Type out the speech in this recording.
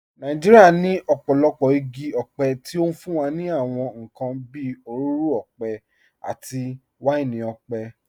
Nàìjíríà ní ọ̀pọ̀lọpọ̀ igi ọ̀pẹ tí ó fún wa ní àwọn nǹkan bí òróró ọ̀pẹ àti wáìnì ọ̀pẹ.